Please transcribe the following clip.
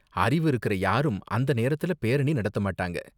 அறிவு இருக்குற யாரும் அந்த நேரத்துல பேரணி நடத்த மாட்டாங்க.